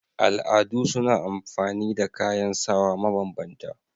Al'adu suna amfani da kayan sawa ma banbanta